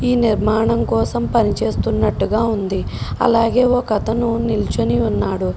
ఈ నిర్మాణం కోసం పని చేస్తున్నట్టుగా ఉంది. అలాగే ఒక అతను నిల్చొని ఉన్నాడు.